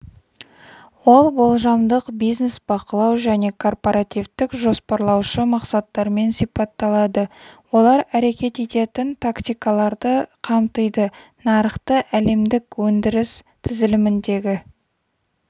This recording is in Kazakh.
ол болжамдық-бизнес бақылау және корпоративтік-жоспарлаушы мақсаттармен сипатталады олар әрекет ететін тактикаларды қамтиды нарықты әлемдік өндіріс тізіліміндегі